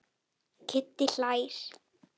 Kiddi hlær.